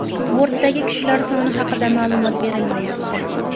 Bortdagi kishilar soni haqida ma’lumot berilmayapti.